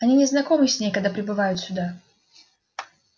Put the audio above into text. они не знакомы с ней когда прибывают сюда